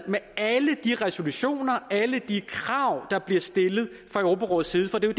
med alle de resolutioner alle de krav der bliver stillet fra europarådets side for det er